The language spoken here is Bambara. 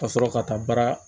Ka sɔrɔ ka taa baara